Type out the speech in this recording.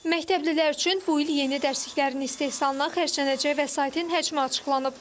Məktəblilər üçün bu il yeni dərsliklərin istehsalına xərclənəcək vəsaitin həcmi açıqlanıb.